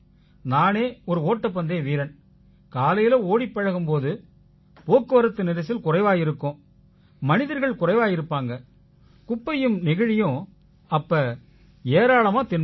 நானே ஒரு ஓட்டப்பந்தய வீரன் காலையில ஓடிப் பழகும் போது போக்குவரத்து நெரிசல் குறைவா இருக்கும் மனிதர்கள் குறைவா இருப்பாங்க குப்பையும் நெகிழியும் அப்ப ஏராளமா தென்படும்